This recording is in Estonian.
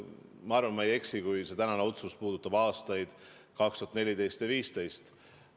Ma arvan, et ma ei eksi, et see tänane otsus puudutab aastaid 2014 ja 2015.